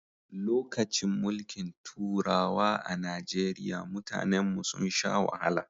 Lokacin mulkin turawa a Najeriya mutanen mu sun sha wahala